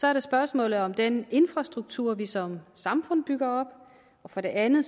er det spørgsmålet om den infrastruktur vi som samfund bygger op for det andet